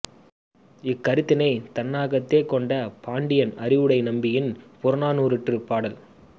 இக் கருத்தினைத் தன்னகத்தே கொண்ட பாண்டியன் அறிவுடை நம்பியின் புறநானுாற்றுப் பாடல்